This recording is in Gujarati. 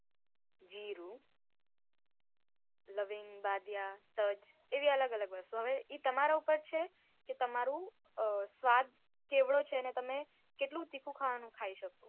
જીરું, લવિંગ, બાદીયા, તજ એવી અલગ અલગ વસ્તુ હવે ઇ તમારા ઉપર છે કે તમારું અ સ્વાદ કેવડો છે ને તમે કેટલું તીખું ખાવાનું ખાય શકો.